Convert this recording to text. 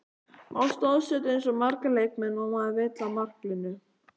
Má staðsetja eins marga leikmenn og maður vill á marklínu?